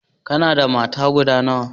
kana da mata guda nawa?